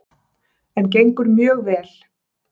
En gengur mjög vel.